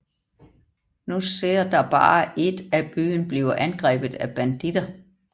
Nu ser der bare et at byen bliver angrebet af banditter